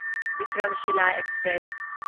Vikramshila express